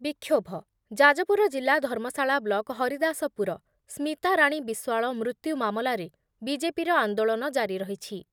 ବିକ୍ଷୋଭ। ଯାଜପୁର ଜିଲ୍ଲା ଧର୍ମଶାଳା ବ୍ଲକ ହରିଦାସପୁର ସ୍ମିତାରାଣୀ ବିଶ୍ଵାଳ ମୃତ୍ୟୁ ମାମଲାରେ ବିଜେପିର ଆନ୍ଦୋଳନ ଜାରିରହିଛି ।